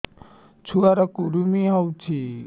ଛୁଆ ର କୁରୁମି ହୋଇଛି